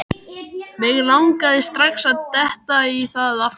Mig langaði strax að detta í það aftur.